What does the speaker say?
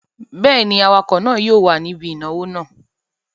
Bẹ́ẹ̀ ni, awakọ̀ náà yóò wà níbí ìnáwó náà.